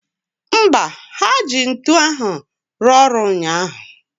Mba, ha ji ya rụọ ọrụ ụnyaahụ